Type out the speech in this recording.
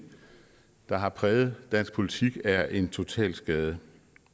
der har præget dansk politik er en totalskade